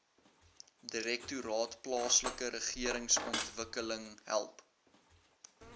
direktoraat plaaslikeregeringsontwikkeling help